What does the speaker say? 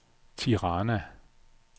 Tirana